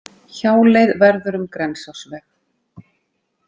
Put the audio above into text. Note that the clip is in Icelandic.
Hjáleið verður um Grensásveg